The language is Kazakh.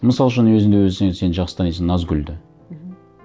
мысал үшін өзің де сен жақсы танисың назгүлді мхм